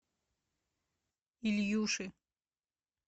ильюши